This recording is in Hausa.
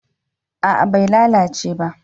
A'a bai lalace ba